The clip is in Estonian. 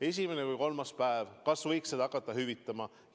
Esimesed kolm päeva, kas võiks neid hakata hüvitama?